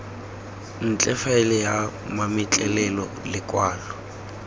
ntle faele ya mametlelelo lekwalo